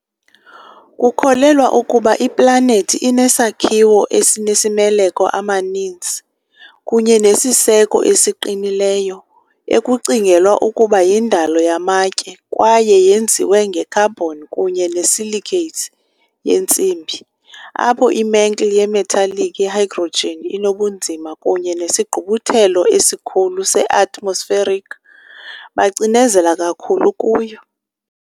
Kukholelwa ukuba iplanethi inesakhiwo esinemaleko amaninzi, kunye nesiseko esiqinileyo, ekucingelwa ukuba yindalo yamatye kwaye yenziwe nge -carbon kunye ne-silicates yentsimbi, apho i- mantle ye-metallic ye-hydrogen inobunzima kunye nesigqubuthelo esikhulu se-atmospheric bacinezela kakhulu kuyo.